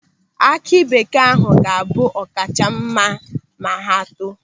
Aki bekee ahụ ga-abụ ọ̀kà kacha mma ma ha too.